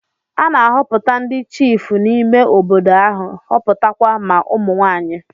A na-ahọpụta ndị chiịfụ n'ime obodo ahụ, họpụta kwa ma ụmụ nwaanyị.